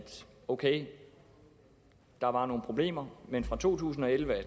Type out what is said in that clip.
ok der var nogle problemer men fra to tusind og elleve